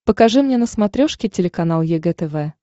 покажи мне на смотрешке телеканал егэ тв